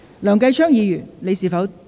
梁繼昌議員，你是否打算答辯？